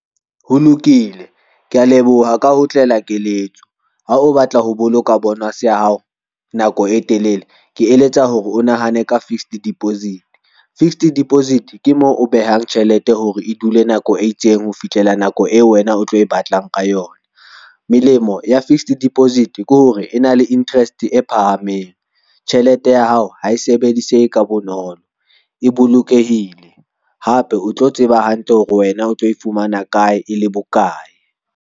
Ho lokile, kea leboha ka ho otlela keletso ha o batla ho boloka bonus ya hao nako e telele. Ke eletsa hore o nahane ka fixed deposit, fixed deposit ke moo o behang tjhelete hore e dule nako e itseng ho fihlela nako eo wena o tlo e batlang ka yona. Melemo ya fixed deposit ke hore e na le interest e phahameng. Tjhelete ya hao ha e sebedisehe ka bonolo, e bolokehile hape o tlo tseba hantle hore wena o tlo e fumana kae e le bokae.